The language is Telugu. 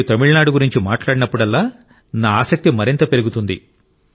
మీరు తమిళనాడు గురించి మాట్లాడినప్పుడల్లా నా ఆసక్తి మరింత పెరుగుతుంది